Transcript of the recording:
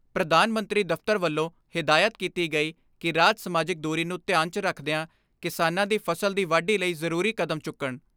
ਪ੍ਰਧਾਨ ਮੰਤਰੀ ਦਫ਼ਤਰ ਵੱਲੋਂ ਹਿਦਾਇਤ ਕੀਤੀ ਗਈ ਕਿ ਰਾਜ ਸਮਾਜਿਕ ਦੂਰੀ ਨੂੰ ਧਿਆਨ 'ਚ ਰਖਦਿਆਂ ਕਿਸਾਨਾਂ ਦੀ ਫਸਲ ਦੀ ਵਾਢੀ ਲਈ ਜ਼ਰੂਰੀ ਕਦਮ ਚੁੱਕਣ।